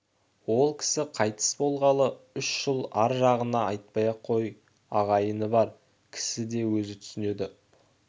ол кісі қайтыс болғалы үш жыл ар жағын айтпай-ақ қой ағайыны бар кісі өзі де түсінеді